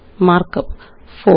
markup 4